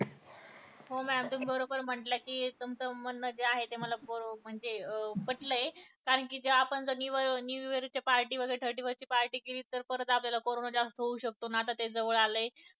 व mam तुम्ही बरोबर म्हंटल कि अं तुमचं म्हणणं जे आहे ते म्हणजे ते मला पटलंय कारण आपण new year ची वगैरे thirty first ची party केली तर आपल्याला कारोंना जास्त होऊ शकतो आणि आता तो जवळ आलंय